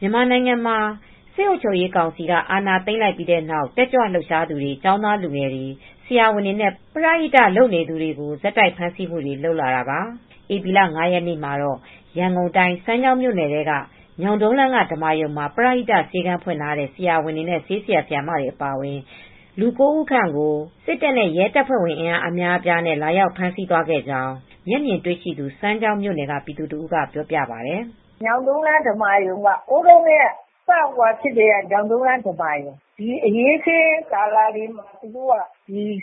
မြန်မာနိုင်ငံမှာ စစ်အုပ်ချုပ်ရေးကောင်စီက အာဏာသိမ်းပြီးတဲ့နောက် တက်ကြွလှုပ်ရှားသူတွေ ကျောင်းသားလူငယ်တွေ ဆရာဝန်တွေနဲ့ ပရဟိတလုပ်နေတဲ့ လုပ်နေသူတွေကို ဆက်တိုက်ဖမ်းဆီးမှုတွေ လုပ်နေတာပါ။ ဧပြီလ ၅ ရက်နေ့မှာတော့ ရန်ကုန်တိုင်း စမ်းချောင်းမြို့နယ် ညောင်တုန်းလမ်းက ဓမ္မာရုံမှာ ပရဟိတ ဆေးခန်းဖွင့်ထားတဲ့ ဆရာဝန်တွေ၊ ဆေးဆရာ၊ ဆရာမတွေ အပါအဝင်လူ ၉ ဦးခန့်ကို စစ်တပ်နဲ့ ရဲတပ်ဖွဲ့ဝင်အင်အားအများအပြား သုံးပြီး ဝင်ရောက်ဖမ်းဆီးသွားခဲ့ကြောင်း မျက်မြင်တွေ့ရှိသူ စမ်းချောင်းမြို့နယ်က ပြည်သူတဦးကပြောပြပါတယ်။ "ညောင်တုန်းလမ်း ဓမ္မာရုံက ဟိုးတုန်းကတည်းက စပြီးအရေးအခင်းတွေ ဖြစ်တဲ့အချိန်ကတည်းက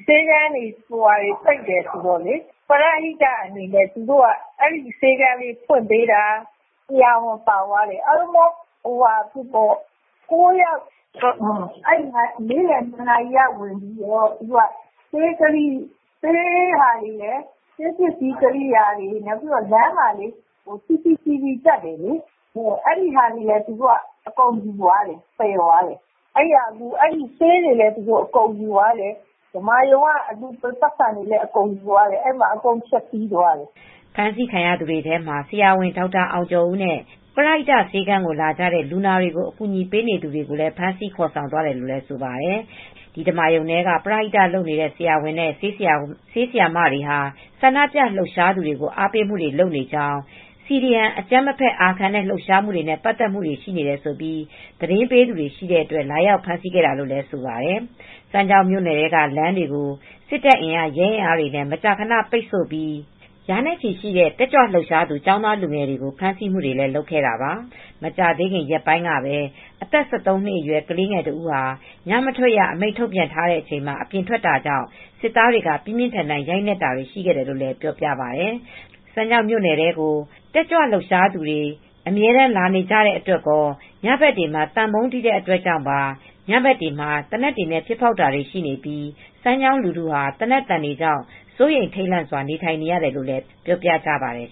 ဆေးခန်းတွေ ပိတ်တယ်ဆိုတော့ ပရဟိတအနေနဲ့ ဆေးခန်းလေးတွေ ဖွင့်ပေးထားတာ။ ဆရာဝန်ပါသွားတယ်။ အားလုံးပေါင်း ၉ ယောက်ပါသွားတယ်။ နေ့လည် ၂ နာရီက ဝင်ပြီးတော့ ဆေးပစ္စည်းတွေ၊ ဆေးပစ္စည်းကိရိယာတွေ၊ လမ်းမှာ တပ်တဲ့ CCTV တပ်တယ်လေ။ အဲဒီပစ္စည်းတွေလည်း အကုန်သယ်သွားတယ်။ ဆေးတွေလည်း ယူသွားတယ်။ ဓမ္မာရုံက ပိုက်ဆံတွေလည်း ယူသွားတယ်။ အကုန်လည်း ဖျက်ဆီးသွားတယ်။" ဖမ်းဆီးသွားသူတွေထဲမှာ ဆရာဝန်ဒေါက်တာအောင်ကျော်ဦးနဲ့ ပရိဟိတဆေးခန်းကို လာကြတဲ့ လူနာတွေကို အကူညီပေးနေသူတွေကိုလည်း ဖမ်းဆီးခေါ်ဆောင်သွားတယ်လို့လည်းဆိုပါတယ်။ ဒီဓမ္မာရုံထဲက ပရဟိတလုပ်နေတဲ့ ဆရာဝန်နဲ့ ဆေးဆရာမတွေဟာ ဆန္ဒပြလှုပ်ရှားသူတွေကို အားပေးမှုတွေ လုပ်နေကြောင်း CDM အကြမ်းမဖက်အာခံတဲ့ လှုပ်ရှားမှုတွေနဲ့ ပတ်သက်မှုတွေရှိတယ်ဆိုပြီး သတင်းပေးသူတွေ ရှိတဲ့အတွက်လာရောက်ဖမ်းဆီးခဲ့တာလို့လည်း ဆိုပါတယ်။ စမ်းချောင်းမြို့နယ်ထဲက လမ်းတွေကို စစ်တပ်အင်အား၊ ရဲအင်အားတွေနဲ့ မကြာခဏဆိုသလို ပိတ်ဆို့ပြီး ရာနဲ့ ချီရှိတဲ့ တက်ကြွလှုပ်ရှားသူ လူငယ်ကျောင်းသားတွေကို ဖမ်းဆီးမှုတွေလုပ်ခဲ့တာပါ။ မကြာသေးခင်ရက်ပိုင်းကပဲ အသက် ၁၃ နှစ်အရွယ် ကလေးတဦးဟာ ညမထွက်ရ အမိန့်ထုတ်ပြန်ထားချိန်မှာ အပြင်ထွက်တာကြောင့် စစ်သားတွေက ပြင်းပြင်းထန်ထန်ရိုက်နှက်တာတွေ ရှိရတယ်လို့လည်း ပြောပြပါတယ်။ စမ်းချောင်းမြို့နယ်ထဲကို တက်ကြွလှုပ်ရှားသူတွေ လာနေကြတဲ့အတွက်ရော၊ ညဘက်သံပုန်းတီးတဲ့အတွက်ကြောင့်ပါ ညတွေမှာ သေနတ်တွေနဲ့ ပစ်ဖောက်တာတွေ ရှိနေပြီး စမ်းချောင်းလူထုဟာ သေနတ်သံတွေကြောင့် စိုးရိမ်ထိတ်လန့်စွာ နေထိုင်နေရတယ်လို့လည်းပြောပြကြပါတယ်